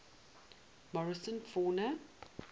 morrison fauna